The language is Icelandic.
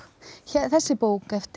þessi bók eftir